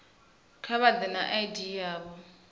kha vha ḓe na id yavho